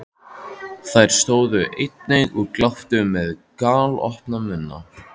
Þær stóðu einnig og gláptu með galopna munna.